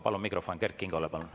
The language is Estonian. Palun mikrofon Kert Kingole!